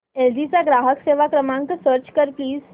L G चा ग्राहक सेवा क्रमांक सर्च कर प्लीज